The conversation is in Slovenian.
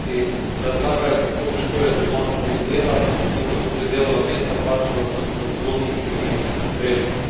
Kajti razlagajo, kako težko je doma, ko ni dela in ko so tudi delovna mesta plačana z zelo nizkimi sredstvi.